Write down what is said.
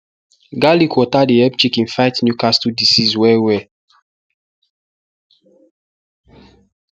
garlic water dey help chicken fight newcastle disease well well